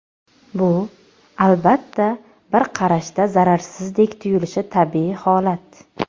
Bu, albatta, bir qarashda zararsizdek tuyulishi tabiiy holat.